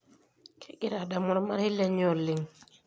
Kegira adamu ormarei lenye oleng.